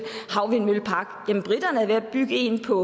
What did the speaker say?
havvindmøllepark jamen briterne er ved at bygge en på